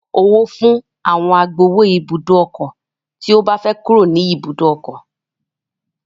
Yóò san owó fún àwọn agbowó ibùdó ọkọ̀ tí ó bá fẹ́ kúrò ní ibùdó ọkọ̀